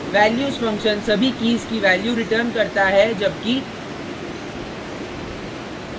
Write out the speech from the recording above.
values function सभी keys की values return करता है जबकि